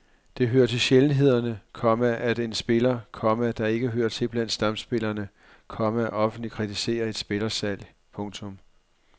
Det hører til sjældenhederne, komma at en spiller, komma der ikke hører til blandt stamspillerne, komma offentligt kritiserer et spillersalg. punktum